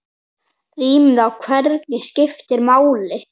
Rýmið í verkinu skiptir máli.